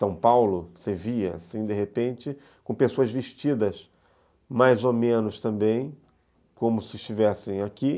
São Paulo, você via, assim, de repente, com pessoas vestidas mais ou menos também, como se estivessem aqui.